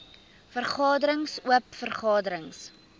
vergaderings oop vergaderings